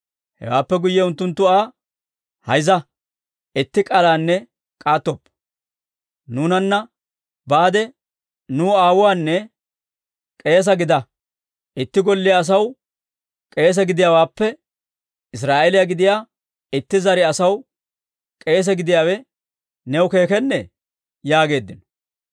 Hewaappe guyye unttunttu Aa, «Hayzza! Itti k'aalanne k'aattoppa! Nuunana baade nuw aawuwaanne k'eese gida. Itti golliyaa asaw k'eese gidiyaawaappe Israa'eeliyaa gidiyaa itti zare asaw k'eese gidiyaawe new keekennee?» yaageeddino.